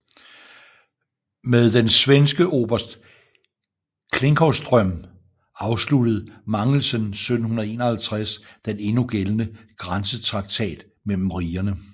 Med den svenske oberst Klinckowström afsluttede Mangelsen 1751 den endnu gældende grænsetraktat mellem rigerne